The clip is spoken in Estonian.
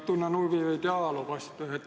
Tunnen huvi ajaloo vastu.